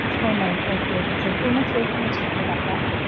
six five nine okay okay sir. two minutes wait பன்னுங்க check பன்னி பாக்குறன்.